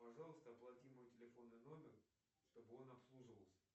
пожалуйста оплати мой телефонный номер чтобы он обслуживался